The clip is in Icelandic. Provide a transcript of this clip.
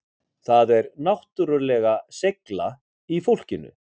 Það er náttúrulega seigla í fólkinu